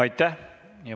Aitäh!